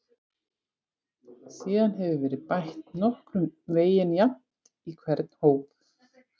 Síðan hefur verið bætt nokkurn veginn jafnt í hvern hóp.